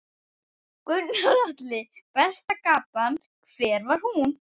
Gunnar Atli: Besta gatan, hver var hún?